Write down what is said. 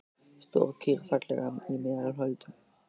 Stór kýr, falleg í meðal holdum.